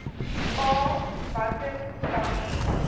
a watter stappe